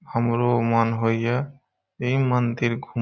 हमरो मन होइहे यही मंदिर घूम --